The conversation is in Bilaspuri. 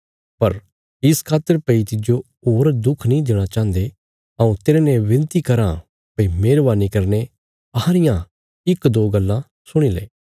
पर इस खातर भई तिज्जो होर दुख नीं देणा चाहन्दे हऊँ तेरने विनती कराँ भई मेहरवानी करीने अहां रियां इक दो गल्ला सुणी ले